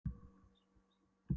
En hvers vegna segir hún ekki bara